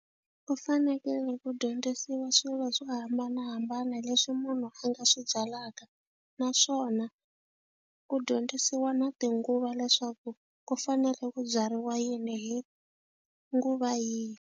U fanekele ku dyondzisiwa swilo swo hambanahambana hi leswi munhu a nga swi byalaka naswona ku dyondzisiwa na tinguva leswaku ku fanele ku byariwa yini hi nguva yihi.